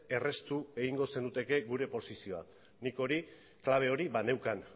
erraztu egingo zenukete gure posizioa nik hori klabe hori baneukan